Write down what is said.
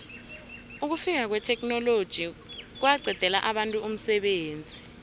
ukufika kwetheknoloji kwaqedela abantu umsebenzi